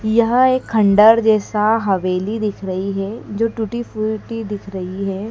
यह एक खंडर जैसा हवेली दिख रही है जो टूटी फूटी दिख रही है।